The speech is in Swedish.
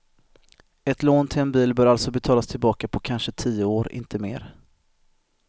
Ett lån till en bil bör alltså betalas tillbaka på kanske tio år, inte mer.